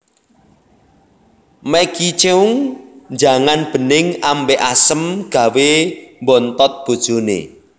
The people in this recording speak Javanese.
Maggie Cheung njangan bening ambek asem gawe mbontot bojone